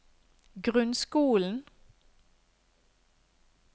grunnskolen